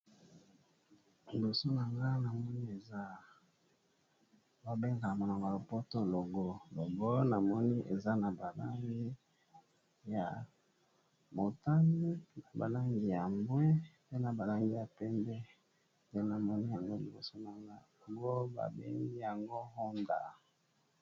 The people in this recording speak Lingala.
Liboso na nga nazomona logo eza na langi motane ya mbwe na ya pembe kombo ya logo eza HONDA.